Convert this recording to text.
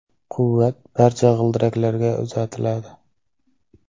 Quvvat barcha g‘ildiraklarga uzatiladi.